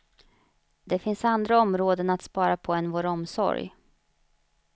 Det finns andra områden att spara på än vår omsorg.